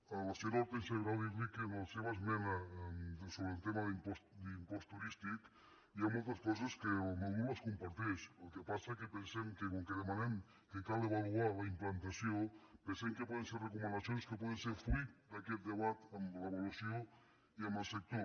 a la senyora hortènsia grau dir li que en la seva esmena sobre el tema de l’impost turístic hi ha moltes coses que el meu grup les comparteix el que passa que pensem que com que demanem que cal avaluar ne la implantació pensem que poden ser recomanacions que poden ser fruit d’aquest debat amb l’avaluació i amb el sector